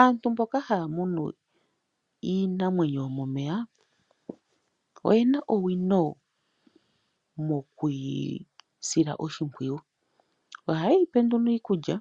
Aantu mboka haya munu iinamwenyo yomomeya oye na owino mokwiisila oshipwiyu oha yeyi pe nduno iikulya.